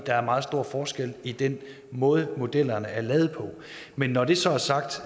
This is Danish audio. der er meget stor forskel i den måde modellerne er lavet på men når det så er sagt